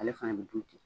Ale fana bɛ dun ten